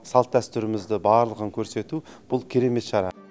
салт дәстүрімізді барлығын көрсету бұл керемет шара